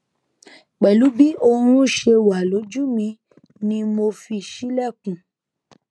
pẹlu bi oorun ṣe wa loju mi ni mo fi ṣilẹkun